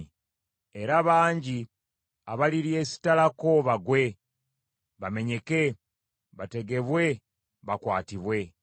Era bangi abaliryesittalako, bagwe, bamenyeke, bategebwe bakwatibwe.”